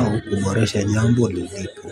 au kuboresha jambo lilipo.